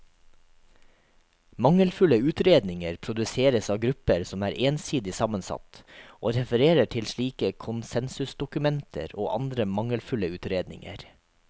Mangelfulle utredninger produseres av grupper som er ensidig sammensatt, og refererer til slike konsensusdokumenter og andre mangelfulle utredninger.